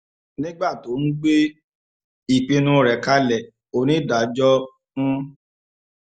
nígbà tó ń gbé ìpinnu rẹ̀ kalẹ̀ onídàájọ́ ń